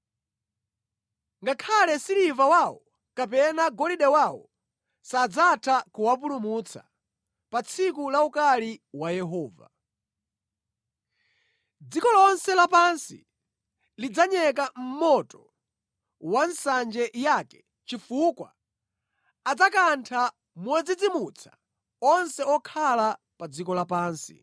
Ngakhale siliva wawo kapena golide wawo sadzatha kuwapulumutsa pa tsiku la ukali wa Yehova. Dziko lonse lapansi lidzanyeka mʼmoto wa nsanje yake chifukwa adzakantha modzidzimutsa onse okhala pa dziko lapansi.